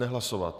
Nehlasovat?